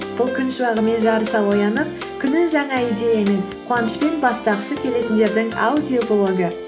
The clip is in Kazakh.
бұл күн шуағымен жарыса оянып күнін жаңа идеямен қуанышпен бастағысы келетіндердің аудиоблогы